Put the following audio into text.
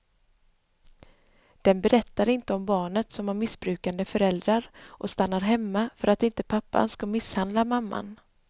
Den berättar inte om barnet som har missbrukande föräldrar och stannar hemma för att inte pappan ska misshandla mamman.